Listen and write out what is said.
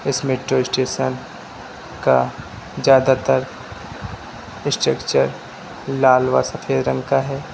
इस metro station का ज्यादा तर स्ट्रक्चर लाल व सफेद रंग का है।